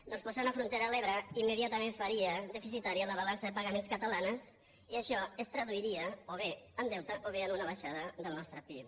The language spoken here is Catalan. perquè posar una frontera a l’ebre immediatament faria deficitària la balança de pagaments catalana i això es traduiria o bé en deute o bé en una baixada del nostre pib